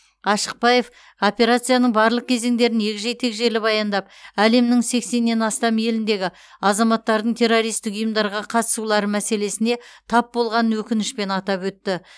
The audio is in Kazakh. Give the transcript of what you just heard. ашықбаев операцияның барлық кезеңдерін егжей тегжейлі баяндап әлемнің сексеннен астам еліндегі азаматтардың террористік ұйымдарға қатысулары мәселесіне тап болғанын өкінішпен атап өтті